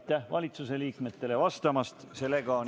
Aitäh valitsusliikmetele vastamast!